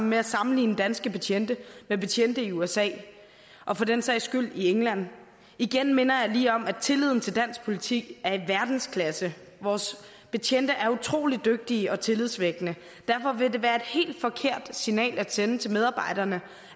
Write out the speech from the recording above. med at sammenligne danske betjente med betjente i usa og for den sags skyld i england igen minder jeg lige om at tilliden til dansk politi er i verdensklasse vores betjente er utrolig dygtige og tillidsvækkende og derfor vil det være et helt forkert signal at sende til medarbejderne